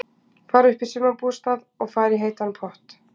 Fara upp í sumarbústað og fara í heitan pott.